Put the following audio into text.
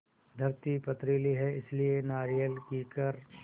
धरती पथरीली है इसलिए नारियल कीकर